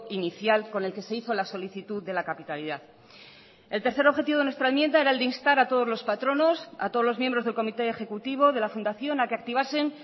inicial con el que se hizo la solicitud de la capitalidad el tercer objetivo de nuestra enmienda era el de instar a todos los patronos a todos los miembros del comité ejecutivo de la fundación a que activasen